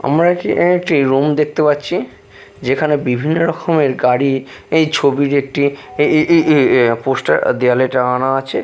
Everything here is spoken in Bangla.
আমরা কি এখানে একটি রুম দেখতে পাচ্ছি যেখানে বিভিন্ন রখমের গাড়ি এই ছবির একটি এ-এ এ পোস্টার দেওয়ালে টানানো আছে।